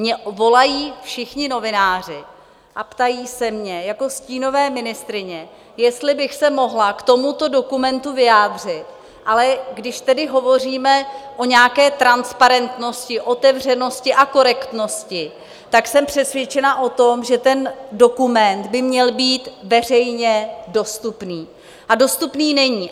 Mně volají všichni novináři a ptají se mě jako stínové ministryně, jestli bych se mohla k tomuto dokumentu vyjádřit, ale když tedy hovoříme o nějaké transparentnosti, otevřenosti a korektnosti, tak jsem přesvědčena o tom, že ten dokument by měl být veřejně dostupný, a dostupný není.